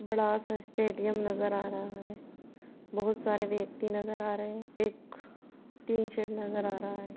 बड़ा सा स्‍टे‍ड़‍ियम नजर आ रहा है| बहुत सारे व्यक्ति नजर आ रहे है| एक टीन शेड नजर आ रहा है।